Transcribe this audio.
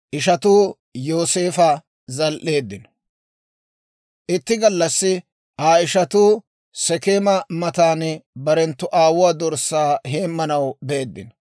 Itti gallassi Aa ishatuu Sekeema matan barenttu aawuwaa dorssaa heemanaw beeddino.